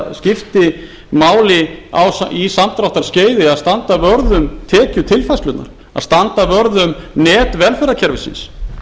það skipti máli á samdráttarskeiði að standa vörð um tekjutilfærslunum að standa vörð um net velferðarkerfisins